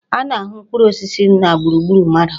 A na-ahụ mkpụrụ osisi na gburugburu mmadụ.